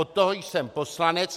Od toho jsem poslanec.